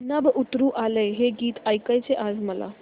नभं उतरू आलं हे गीत ऐकायचंय आज मला